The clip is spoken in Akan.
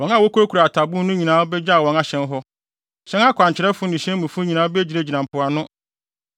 Wɔn a wokurakura atabon no nyinaa begyaw wɔn ahyɛn hɔ; hyɛn akwankyerɛfo ne hyɛn mufo nyinaa begyinagyina mpoano.